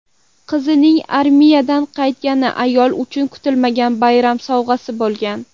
Qizining armiyadan qaytgani ayol uchun kutilmagan bayram sovg‘asi bo‘lgan.